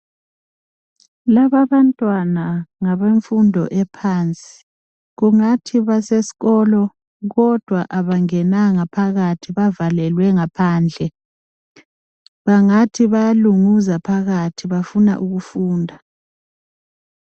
Laba abantwana ngabe mfundo ephansi. Kungathi basesikolo kodwa abangenanga phakathi bavalelwe ngaphandle. Bangathi bayalunguza phakathi bafuna ukufunda.